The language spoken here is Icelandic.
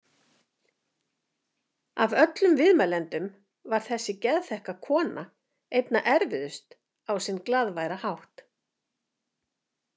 Af öllum viðmælendum var þessi geðþekka kona einna erfiðust á sinn glaðværa hátt.